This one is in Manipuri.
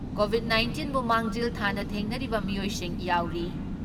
ꯀꯣꯚꯤꯠ ꯅꯥꯏꯟꯇꯤꯟꯕꯨ ꯃꯥꯡꯖꯤꯜ ꯊꯥꯅ ꯊꯦꯡꯅꯔꯤꯕ ꯃꯤꯑꯣꯏꯁꯤꯡ ꯌꯥꯎꯔꯤ ꯫